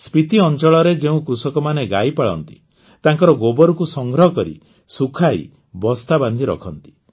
ସ୍ପିତି ଅଂଚଳରେ ଯେଉଁ କୃଷକମାନେ ଗାଈ ପାଳନ୍ତି ତାଙ୍କର ଗୋବରକୁ ସଂଗ୍ରହ କରି ଶୁଖାଇ ବସ୍ତା ବାନ୍ଧି ରଖନ୍ତି